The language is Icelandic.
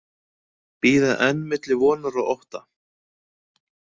Bíða enn milli vonar og ótta